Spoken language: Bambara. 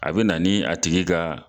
A be na ni a tigi ka